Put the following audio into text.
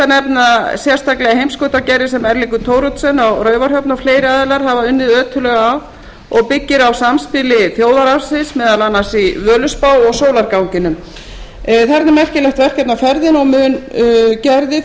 þar rétt að nefna sérstaklega heimskautagerði sem eiríkur thoroddsen á raufarhöfn og fleiri aðilar hafa unnið ötullega að og byggir á samspili þjóðararfsins meðal annars í völuspá og sólarganginum þarna er merkilegt verkefni á ferðinni og mun gerðið